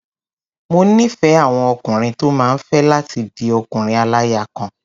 Mo nífẹ̀ẹ́ àwọn ọkùnrin tó máa fẹ́ láti di ọkùnrin-aláya-kan.